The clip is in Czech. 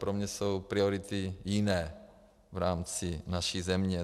Pro mě jsou priority jiné v rámci naší země.